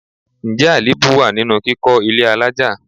Ǹjẹ́ àléébù wá nínú kíkọ ilé àlája?